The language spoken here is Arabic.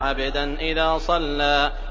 عَبْدًا إِذَا صَلَّىٰ